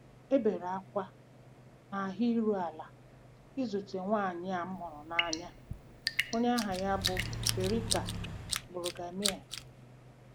E bere ákwá na ahụ iru ala izute nwanyị a m hụrụ n'anya, onye aha ya bụ Berta Brüggemeier.